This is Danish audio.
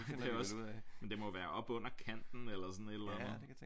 Det er også men det må være oppe under kanten eller sådan et eller andet